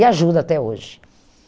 E ajuda até hoje.